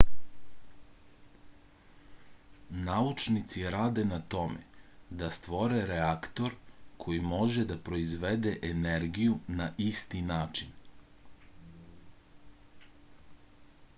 naučnici rade na tome da stvore reaktor koji može da proizvodi energiju na isti način